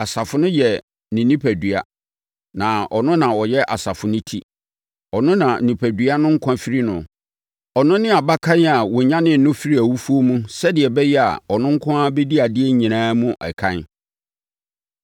Asafo no yɛ ne onipadua; na ɔno na ɔyɛ asafo no ti. Ɔno na onipadua no nkwa firi no. Ɔno ne Abakan a wɔnyanee no firii awufoɔ mu sɛdeɛ ɛbɛyɛ a ɔno nko ara bɛdi adeɛ nyinaa mu ɛkan.